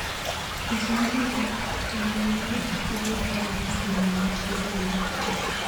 Kicheng bik ab ptanganyinik sikobit kobarasta inendet logoiywek.